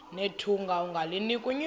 nethunga ungalinik unyoko